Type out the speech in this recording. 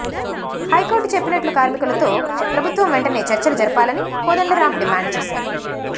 high court చెప్పినట్లు కార్మికులతో ప్రభుత్వం వెంటనే చర్చలు జరపాలని కోదండరాం డిమాండ్ చేశారు